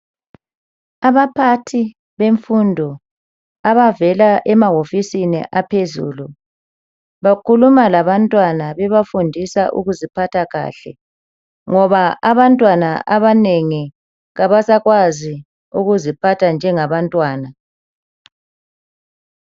Abaphathi bemfundo abavela emawofisini aphezulu bakhuluma labantwana bebafundisa ukuziphatha kahle ngoba abantwana abanengi abasakwazi ukuziphatha njengaba ntwana.